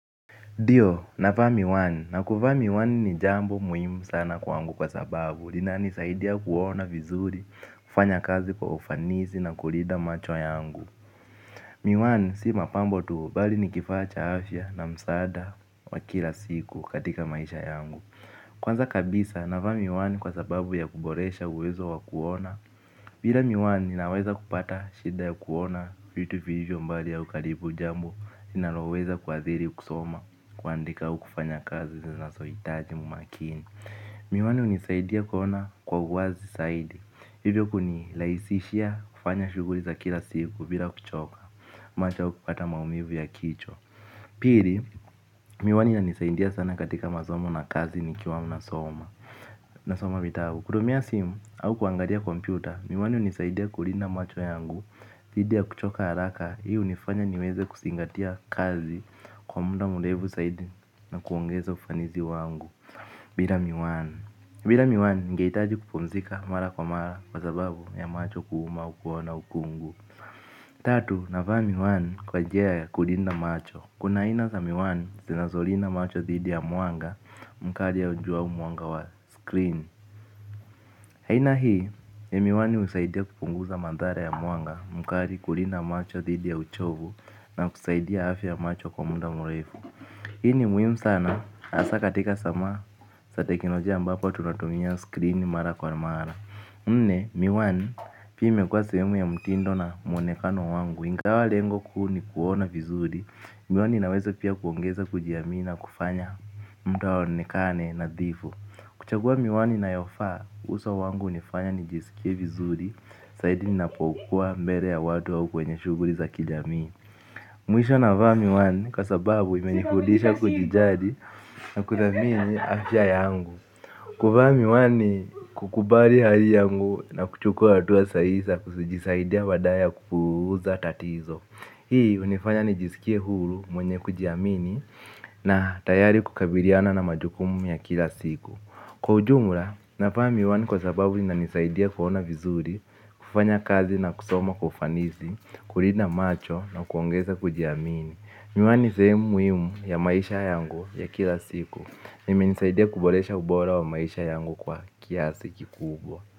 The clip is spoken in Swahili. Ndio, navaa miwani, na kuvaa miwani ni jambo muhimu sana kwangu kwa sababu, linanisaidia kuona vizuri, kufanya kazi kwa ufanisi na kulinda macho yangu. Miwani, si mapambo tu, bali ni kifaa cha afya na msaada wa kila siku katika maisha yangu. Kwanza kabisa, navaa miwani kwa sababu ya kuboresha uwezo wa kuona, bila miwani ninaweza kupata shida ya kuona vitu vilivyo mbali au karibu, jambo linaloweza kuadhiri kusoma, kuandika au kufanya kazi zinazohitaji umakini. Miwani hunisaidia kuona kwa uwazi zaidi. Hivyo kunirahisishia kufanya shuguli za kila siku bila kuchoka. Macho au kupata maumivu ya kichwa. Pili, miwani inisaidia sana katika masomo na kazi nikiwa ninasoma. Nasoma vitabu. Kutumia simu au kuangalia kompyuta, miwani hunisaidia kulinda macho yangu, dhidi ya kuchoka haraka, hii hunifanya niweze kuzingatia kazi kwa muda mrefu zaidi na kuongeza ufanisi wangu. Bila miwani. Bila miwani ningehitaji kupumzika mara kwa mara kwa sababu ya macho kuuma au kuona ukungu. Tatu, navaa miwani kwa nji ya kulinda macho. Kuna aina za miwani zinazolinda macho dhidi ya mwanga mkali au jua mwanga wa 'screen'. Aina hii, ya miwani husaidia kupunguza madhara ya mwanga mkali, kulinda macho dhidi ya uchovu na kusaidia afya ya macho kwa muda mrefu. Hii ni muhimu sana, hasa katika sama za teknolojia ambapo tunatumia 'screen' mara kwa mara. Nne, miwani, pia imekuwa sehemu ya mtindo na mwonekano wangu, ingawa lengo kuu ni kuona vizuri, miwani inaweza pia kuongeza kujiamini na kufanya mtu aonekane nadhifu. Kuchagua miwani inayofaa, uso wangu hunifanya nijisikie vizuri, zaidi ninapokuwa mbele ya watu au kwenye shughuli za kijamii. Mwisho, navaa miwani, kwa sababu imenifudisha kujijali na kuthamini afya yangu. Kuvaa miwani ni kukubali hali yangu na kuchukua hatua sahihi za kujisaidia badala ya kupuuza tatizo. Hii hunifanya nijisikie huru, mwenye kujiamini na tayari kukabiliana na majukumu ya kila siku. Kwa ujumla, navaa miwani kwa sababu inanisaidia kuona vizuri, kufanya kazi na kusoma kwa ufanisi, kulida macho na kuongeza kujiamini. Miwani ni sehemu muhimu ya maisha yangu ya kila siku, na imenisaidia kuboresha ubora wa maisha yangu kwa kiasi kikubwa.